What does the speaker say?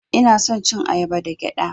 Ina son cin ayaba da gyaɗa.